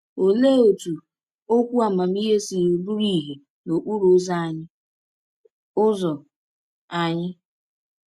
Olee otú okwu amamihe si bụrụ ìhè n’okporo ụzọ anyị? ụzọ anyị?